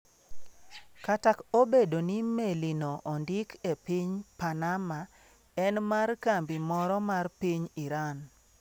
Kata obedo ni melino ondik e piny Panama, en mar kambi moro mar piny Iran.